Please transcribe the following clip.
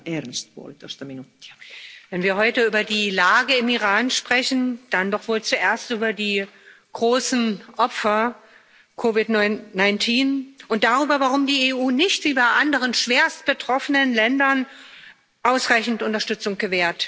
Frau Präsidentin! Wenn wir heute über die Lage im Iran sprechen, dann doch wohl zuerst über die zahlreichen Opfer von COVID 19 und darüber, warum die EU nicht wie bei anderen schwerstbetroffenen Ländern ausreichend Unterstützung gewährt.